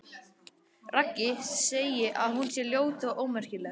Raggi segi að hún sé ljót og ómerkileg.